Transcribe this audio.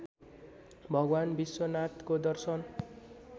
भगवान् विश्वनाथको दर्शन